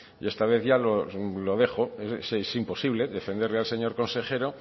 y esta vez ya lo dejo es imposible defenderle al señor consejero